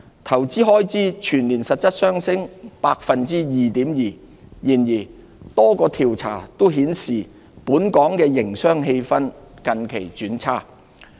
投資開支全年實質上升 2.2%。然而，多個調查均顯示本港營商氣氛近期轉差。